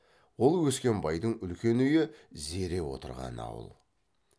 ол өскенбайдың үлкен үйі зере отырған ауыл